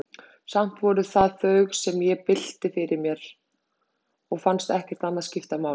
Samt voru það þau, sem ég bylti fyrir mér, og fannst ekkert annað skipta máli.